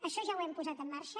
això ja ho hem posat en marxa